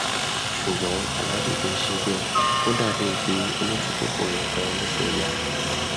ṣùgbọn aláàjì kì í ṣe bẹẹ ó dà bíi pé olójúkòkòrò kan ló fẹẹ yá